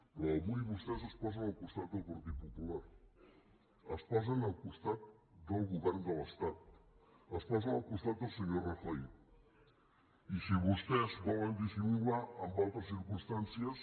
però avui vostès es posen al costat del partit popular es posen al costat del govern de l’estat es posen al costat del senyor rajoy i si vostès volen dissimular amb altres circumstàncies